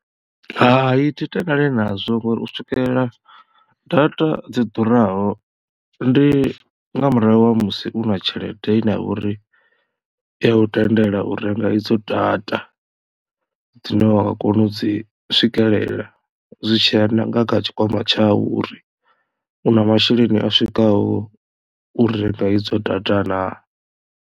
Hai thi tendelani nazwo ngori u swikelela data dzi ḓuraho ndi nga murahu ha musi u na tshelede ine ya vha uri iya u tendela u renga idzo data dzine wa nga kona u dzi swikelela zwi tshiya nanga tshikwama tshau uri u na masheleni a swikaho u renga idzo data naa.